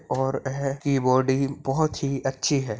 --और यह कीबोर्ड ही बहुत ही अच्छी है।